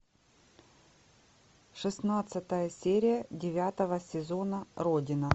шестнадцатая серия девятого сезона родина